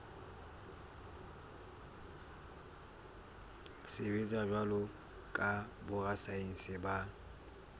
sebetsa jwalo ka borasaense ba